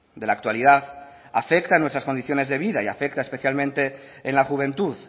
de la actualidad afecta a nuestras condiciones de vida y afecta especialmente en la juventud